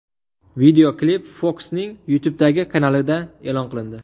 Videoklip Fox’ning YouTube’dagi kanalida e’lon qilindi.